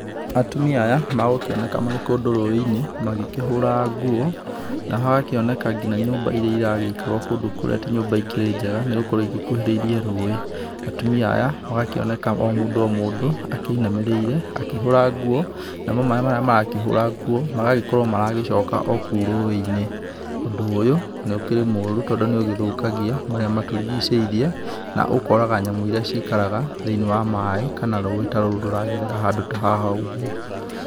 Atumia aya, magũkĩoneka marĩ kũndũ rũĩ-inĩ magĩkĩhũra nguo, na hagakĩoneka ngina nyũmba irĩa iragĩikarwo kũndũ kũrĩa ti nyũmba ikĩrĩ njega, nĩ gũkorwo igĩkuhĩrĩirie rũĩ. Atumia aya, magakĩoneka o mũndũ o mũndũ akĩinamĩrĩire, akĩhũra nguo namo maĩ marĩa marakĩhũra nguo, magagĩkorwo maragĩcoka o kũu rũĩ-inĩ. Ũndũ ũyũ nĩ ũkĩrĩ mũũru tondũ nĩ ũgĩthũkagia marĩa matũrigicĩirie na ũkoraga nyamũ iria ciikaraga thĩiniĩ wa maĩ kana rũĩ ta rũrũ rũragerera handũ ta haha ũguo.